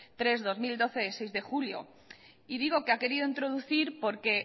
tres barra dos mil doce de seis de julio y digo que ha querido introducir porque